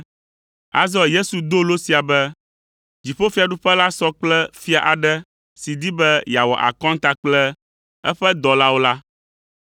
Azɔ Yesu do lo sia be, “Dziƒofiaɖuƒe la sɔ kple fia aɖe si di be yeawɔ akɔnta kple eƒe dɔlawo la.